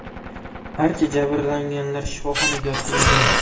Barcha jabrlanganlar shifoxonaga yotqizilgan.